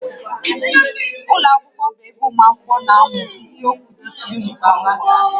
Ụlọ akwụkwọ bụ ebe ụmụ akwụkwọ na-amụ isiokwu dị iche iche kwa ụbọchị